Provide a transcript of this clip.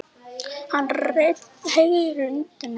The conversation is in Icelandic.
Hann heyrir undir mig.